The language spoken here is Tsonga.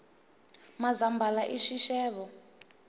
mazambhala i xixevo